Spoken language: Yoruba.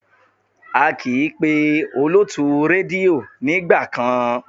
A kì í pé olótùú rédíò nígbà kan.